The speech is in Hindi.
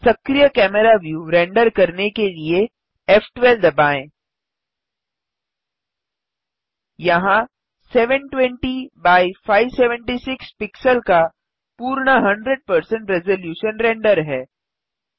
सक्रिय कैमरा व्यू रेंडर करने के लिए फ़12 दबाएँ यहाँ 720 एक्स 576 पिक्सल का पूर्ण 100 रेज़लूशन रेंडर है